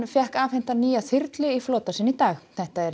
fékk afhenta nýja þyrlu í flota sinn í dag þetta er